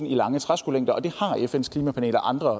i lange træskolængder og det har fns klimapanel og andre